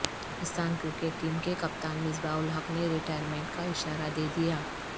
Pakistan cricket team کے کپتان مصباح الحق نے ریٹائرمنٹ کا اشارہ دیدیا ہ